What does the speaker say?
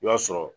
I b'a sɔrɔ